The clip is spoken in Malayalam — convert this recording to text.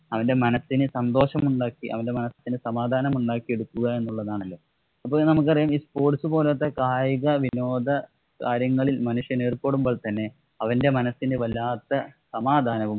അവന്‍റെ മനസിന്‌ സന്തോഷമുണ്ടാക്കി അവന്‍റെ മനസിനെ സമാധാനമുണ്ടാക്കി എടുക്കുക എന്നുള്ളതാണല്ലോ. അപ്പൊ നമുക്കറിയാം ഈ sports പോലത്തെ കായികവിനോദകാര്യങ്ങളില്‍ മനുഷ്യനേര്‍പ്പെടുമ്പോള്‍ തന്നെ അവന്‍റെ മനസ്സിന് വല്ലാത്ത സമാധാനവും